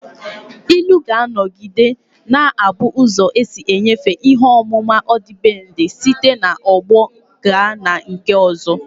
Ilu ga-anọgide na-abụ ụzọ isi nyefee ihe ọmụma ọdịbendị site n'ọgbọ gaa na nke ọzọ